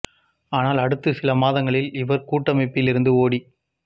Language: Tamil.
ஆனால் அடுத்த சில மாதங்களில் இவர் கூட்டமைப்பிலிருந்து ஓடி